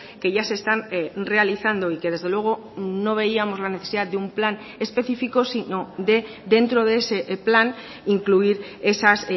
que ya se están realizando y que desde luego no veíamos la necesidad de un plan específico sino dentro de ese plan incluir esas